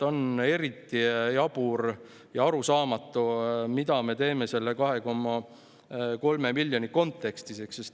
On eriti jabur ja arusaamatu, mida me teeme selle 2,3 miljoni kontekstis.